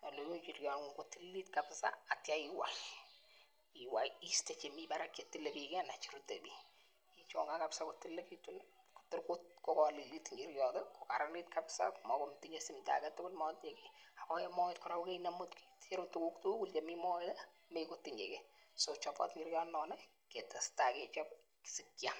kiun inchiriongung kotililit kabisa ak ityo iwai iwai iste chemii barak chetilile bik kii ak ityo iwai cheruet bik ichongen kabisa kotililekitun nii Kotor ko kolelit inchiriot tii ko karanit kabisa mokotinye simdo agetutuk mokotinye kii ako en moet koraa ko koinemu keicheru tukuk tukul chemii moet mekotinye kii so chobot ikere kounon nii kestai kechob sikiam.